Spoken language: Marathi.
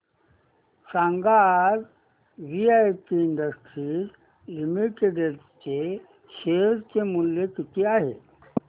सांगा आज वीआईपी इंडस्ट्रीज लिमिटेड चे शेअर चे मूल्य किती आहे